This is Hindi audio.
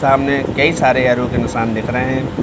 सामने कई सारे एरो के निशान दिख रहे है।